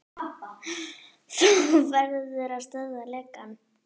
Þú verður að stöðva lekann.